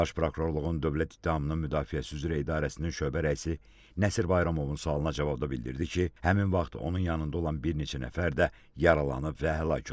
Baş Prokurorluğun dövlət ittihamının müdafiəsi üzrə idarəsinin şöbə rəisi Nəsir Bayramovun sualına cavabda bildirdi ki, həmin vaxt onun yanında olan bir neçə nəfər də yaralanıb və həlak olub.